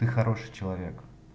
ты хороший человек